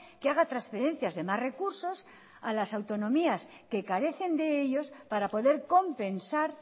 que haga transferencias de más recursos a las autonomías que carecen de ellos para poder compensar